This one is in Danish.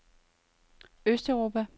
østeuropa